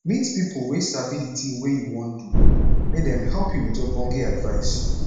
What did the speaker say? meet pipo wey sabi the thing wey you wan do make dem help you with ogbonge advice